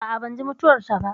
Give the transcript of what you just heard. A'a, ban ji mutuwar ta ba